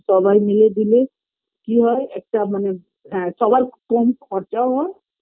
সবাই মিলে দিলে কি হয় একটা মানে হ্যাঁ সবার কম খরচাও হয়